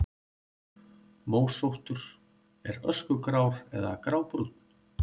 Mósóttur: Er öskugrár eða grábrúnn.